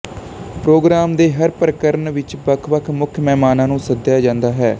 programme ਦੇ ਹਰ ਪ੍ਰਕਰਣ ਵਿੱਚ ਵੱਖ ਵੱਖ ਮੁੱਖ ਮਹਿਮਾਨਾਂ ਨੂੰ ਸੱਦਿਆ ਜਾਂਦਾ ਹੈ